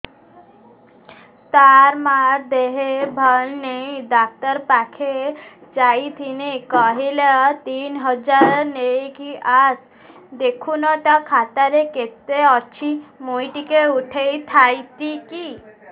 ତାର ମାର ଦେହେ ଭଲ ନାଇଁ ଡାକ୍ତର ପଖକେ ଯାଈଥିନି କହିଲା ତିନ ହଜାର ନେଇକି ଆସ ଦେଖୁନ ନା ଖାତାରେ କେତେ ଅଛି ମୁଇଁ ଟିକେ ଉଠେଇ ଥାଇତି